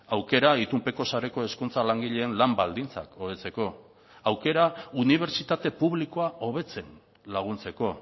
aukera itunpeko sareko hezkuntza langileen lan baldintzak hobetzeko aukera unibertsitate publikoa hobetzen laguntzeko